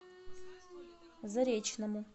заречному